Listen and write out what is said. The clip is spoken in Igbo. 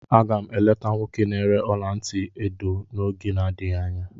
Aga m eleta nwoke na-ere ọla ntị edo n'oge na-adịghị anya.